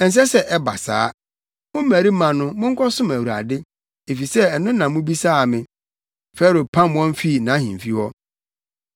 Ɛnsɛ sɛ ɛba saa. Mo mmarima no, monkɔsom Awurade, efisɛ ɛno na mobisaa me.” Farao pam wɔn fii nʼahemfi hɔ.